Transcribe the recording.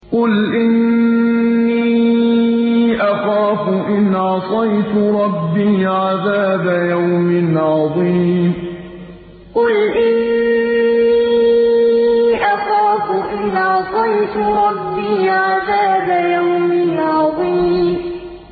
قُلْ إِنِّي أَخَافُ إِنْ عَصَيْتُ رَبِّي عَذَابَ يَوْمٍ عَظِيمٍ قُلْ إِنِّي أَخَافُ إِنْ عَصَيْتُ رَبِّي عَذَابَ يَوْمٍ عَظِيمٍ